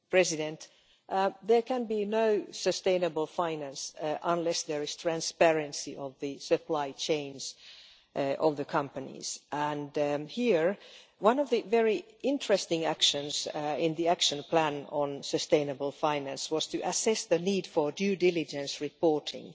Mr President, there can be no sustainable finance unless there is transparency of the supply chains of the companies and here, one of the very interesting actions in the action plan on sustainable finance was to assess the need for due diligence reporting.